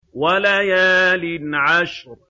وَلَيَالٍ عَشْرٍ